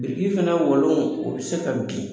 Biriki fana walon o bɛ se bin.